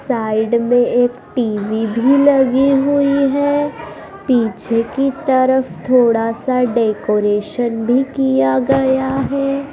Side में एक TV भी लगी हुई है पीछे की तरफ थोड़ा सा डेकोरेशन भी किया गया है।